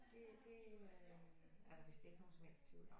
Det det øh er der vidst ikke nogen som helst tvivl om